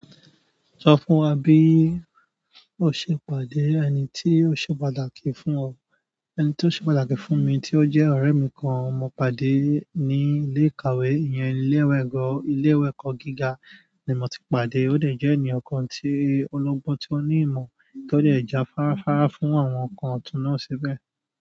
Sọ fún wa bí o ṣe pàdé ẹni tí ó ṣe pàtàkì fún ọ. Ẹni tí ó ṣe pàtàkì fún mi tí ó jẹ́ ọ̀rẹ́ mi kan mo pàdé ní ilé ìkàwé. Iyẹn ilé ìwé ẹ̀kọ́ gíga ni mo ti pàdé. Ó dẹ̀ jẹ́ ènìyàn kan ọlọgbọn tí ó ní ìmọ̀ tó dẹ̀ ja fáráfará fún àwọn nǹkan ọ̀tún náà síbẹ̀.